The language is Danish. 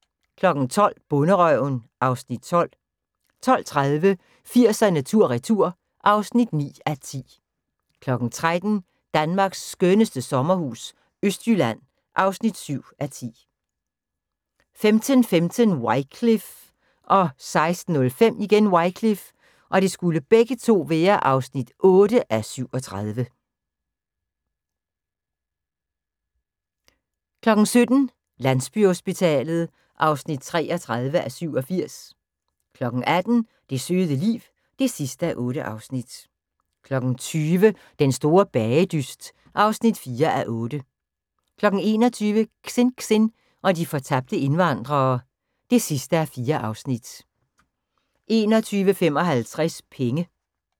12:00: Bonderøven (Afs. 12) 12:30: 80'erne tur retur (9:10) 13:00: Danmarks skønneste sommerhus - Østjylland (7:10) 15:15: Wycliffe (8:37) 16:05: Wycliffe (8:37) 17:00: Landsbyhospitalet (33:87) 18:00: Det søde liv (8:8) 20:00: Den store bagedyst (4:8) 21:00: Xinxin og de fortabte indvandrere (4:4) 21:55: Penge